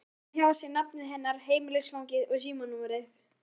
Skrifar hjá sér nafnið hennar, heimilisfangið og símanúmerið.